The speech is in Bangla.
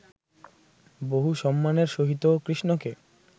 বহু সম্মানের সহিত কৃষ্ণকে